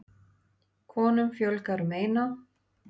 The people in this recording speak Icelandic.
Konum fjölgar um eina.